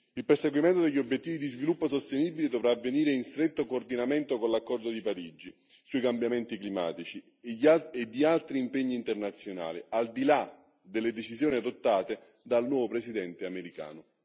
Il perseguimento degli obiettivi di sviluppo sostenibile dovrà avvenire in stretto coordinamento con l'accordo di Parigi sui cambiamenti climatici e altri impegni internazionali, al di là delle decisioni adottate dal nuovo Presidente americano.